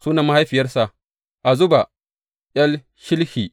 Sunan mahaifiyarsa, Azuba ’yar Shilhi.